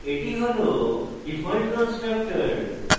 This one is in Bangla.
এটি হল ডিফল্ট constructor